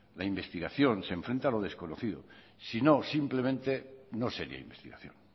la investigación se enfrenta a lo desconocido si no simplemente no sería investigación